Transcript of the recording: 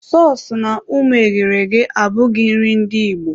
Sọọsụ na ụmụ eghere eghe abụghị nri ndị Igbo.